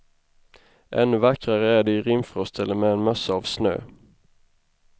Ännu vackrare är de i rimfrost eller med en mössa av snö.